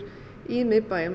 í miðbæjum